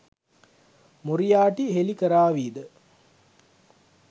Moriarty හෙළි කරාවිද?